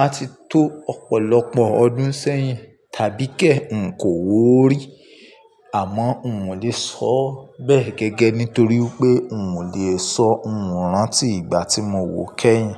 a ti tó ọ̀pọ̀lọpọ̀ ọdún sẹ́yìn tàbí kẹ̀ ń kò wò ó rí. Àmọ́ n ò lè sọ bẹ́ẹ̀ gẹ́gẹ́ nítorí pé n ò lè sọ ńrántí ìgbà tí mo wo kẹ́yìn.